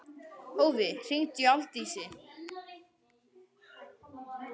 Hófí, hringdu í Aldísi.